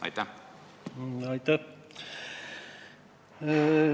Aitäh!